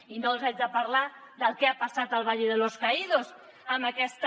i no els haig de parlar del que ha passat al valle de los caídos amb aquesta